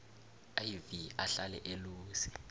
iv ahlale eluse